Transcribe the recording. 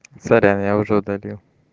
сорян я уже удалил